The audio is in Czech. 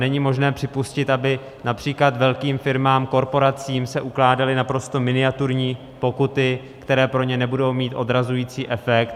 Není možné připustit, aby například velkým firmám, korporacím se ukládaly naprosto miniaturní pokuty, které pro ně nebudou mít odrazující efekt.